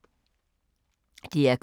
DR K